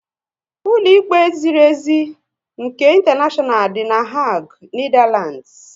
Ụlọ ikpe ziri ezi nke intaneshonal dị na Hague, Netherlands